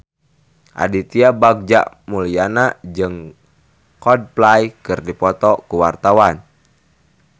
Aditya Bagja Mulyana jeung Coldplay keur dipoto ku wartawan